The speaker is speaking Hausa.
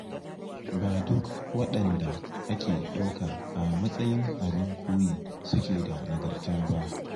Ba duk waɗanda ake ɗauka a matsayin abin koyi suke da nagarta ba.